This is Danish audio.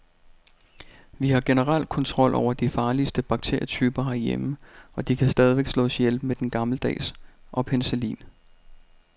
Vi har generelt kontrol over de farligste bakterietyper herhjemme, og de kan stadig slås ihjel med den gammeldags og penicillin.